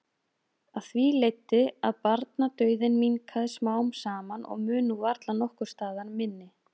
Af því leiddi að barnadauðinn minnkaði smám saman og mun nú varla nokkurs staðar minni.